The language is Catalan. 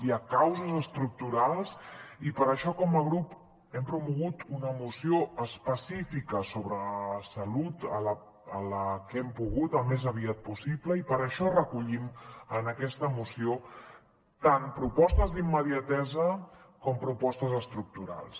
hi ha causes estructurals i per això com a grup hem promogut una moció específica sobre la salut així que hem pogut al més aviat possible i per això recollim en aquesta moció tant propostes d’immediatesa com propostes estructurals